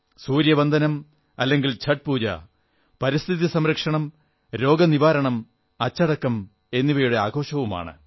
സൂര്യവന്ദനം അല്ലെങ്കിൽ ഛഠ് പൂജ പരിസ്ഥിതി സംരക്ഷണം രോഗനിവാരണം അച്ചടക്കം എന്നിവയുടെ ആഘോഷമാണ്